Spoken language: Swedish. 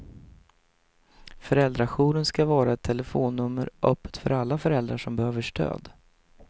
Föräldrajouren ska vara ett telefonnummer öppet för alla föräldrar som behöver stöd.